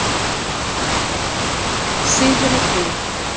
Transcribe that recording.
Syðri Brú